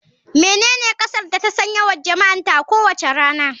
Menene kasar da ta san yawan jama'arta a kowace rana.